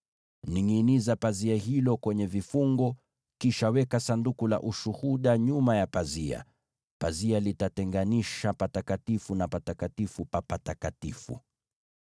Ningʼiniza pazia hilo kwenye vifungo, kisha weka Sanduku la Ushuhuda nyuma ya pazia. Pazia litatenganisha Mahali Patakatifu kutoka Patakatifu pa Patakatifu.